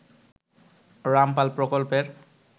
রামপাল প্রকল্পের